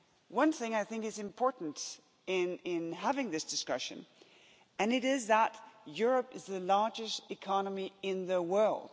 One thing I think is important in having this discussion, and it is that Europe is the largest economy in the world.